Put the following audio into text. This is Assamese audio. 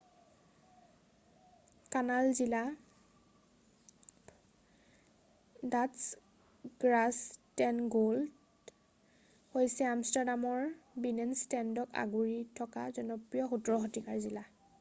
কানাল জিলা ডাটচ: গ্ৰাছটেনগ্ৰ'ডেল হৈছে আমষ্টাৰডামৰ বিনেনষ্টেডক আগুৰি থকা জনপ্ৰিয় 17শ-শতিকাৰ জিলা৷